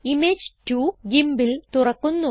image 2 GIMPൽ തുറക്കുന്നു